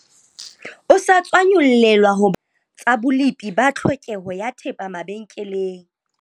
O sa tswa nyollelwa ho ba okamela tsa bolepi ba tlhokeho ya thepa mabenkeleng.